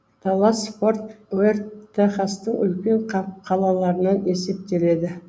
даллас форт уэрт техастың үлкен қалаларынан есептеледі